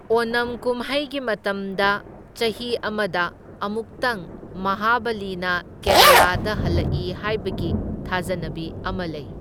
ꯑꯣꯅꯝ ꯀꯨꯝꯍꯩꯒꯤ ꯃꯇꯝꯗ ꯆꯍꯤ ꯑꯃꯗ ꯑꯃꯨꯛꯇꯪ ꯃꯍꯥꯕꯂꯤꯅ ꯀꯦꯔꯥꯂꯥꯗ ꯍꯜꯂꯛꯏ ꯍꯥꯏꯕꯒꯤ ꯊꯥꯖꯅꯕꯤ ꯑꯃ ꯂꯩ꯫